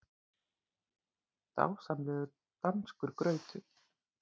Dásamlegur danskur grautur!